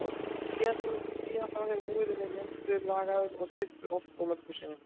Síðan þá hefur múrinn verið endurbyggður, lagaður og styrktur oft og mörgum sinnum.